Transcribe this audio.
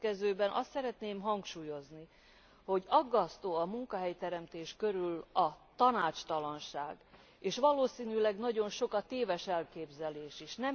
A következőkben azt szeretném hangsúlyozni, hogy aggasztó a munkahelyteremtés körül a tanácstalanság, és valószínűleg nagyon sok a téves elképzelés is.